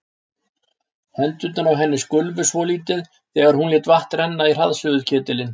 Hendurnar á henni skulfu svolítið þegar hún lét vatn renna í hraðsuðuketilinn.